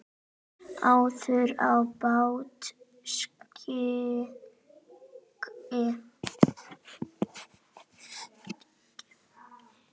áður á bál stigi